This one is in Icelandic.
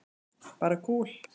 Bara kúl.